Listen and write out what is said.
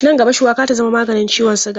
Nan gaba, shuwaka za ta zama maganin ciwon siga.